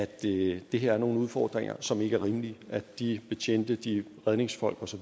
det det her er nogle udfordringer som ikke er rimelige at de betjente de redningsfolk osv